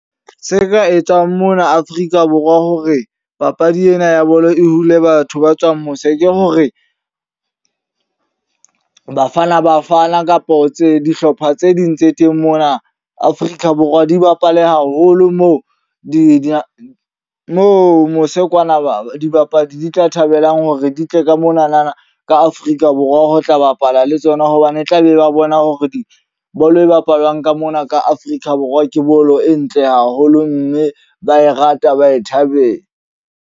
Se ka etswang mona Afrika Borwa hore papadi ena ya bolo e hule batho ba tswang mose. Ke hore Bafana Bafana kapo tse dihlopha tse ding tse teng mona Afrika Borwa di bapale haholo. Moo di mo mose kwana ba dibapadi di tla thabelang hore di tle ka monana ka Afrika Borwa ho tla bapala le tsona. Hobane tla be ba bona hore di bolo e bapalwang ka mona ka Afrika Borwa ke bolo e ntle haholo mme ba e rata ba e thabela.